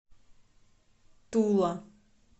тула